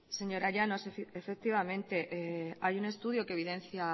señora llanos efectivamente hay un estudio que evidencia